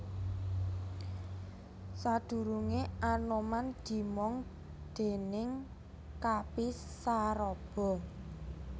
Sadurunge Anoman dimong déning Kapi Saraba